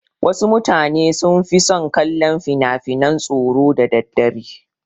Wasu mutane sun fi son kallon finafinan tsoro da daddare.